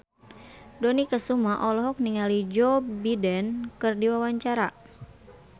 Dony Kesuma olohok ningali Joe Biden keur diwawancara